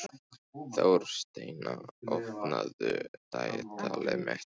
Þórsteina, opnaðu dagatalið mitt.